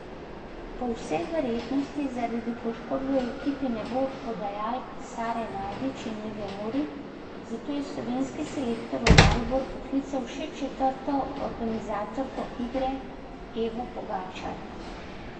Po vsej verjetnosti zaradi poškodbe v ekipi ne bo podajalk Sare Najdič in Eve Mori, zato je slovenski selektor v Maribor poklical še četrto organizatorko igre, Evo Pogačar.